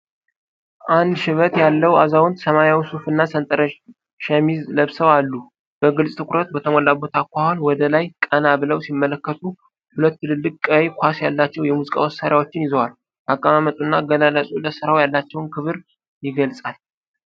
አንድ ሽበት ያለው አዛውንት ሰማያዊ ሱፍና ሰንጠረዥ ሸሚዝ ለብሰው አሉ። በግልጽ ትኩረት በተሞላበት አኳኋን ወደ ላይ ቀና ብለው ሲመለከቱ፣ ሁለት ትልልቅ ቀይ ኳስ ያላቸው የሙዚቃ መሣሪያዎችን ይዘዋል። አቀማመጡና አገላለጹ ለሥራው ያላቸውን ክብር የገልጻል።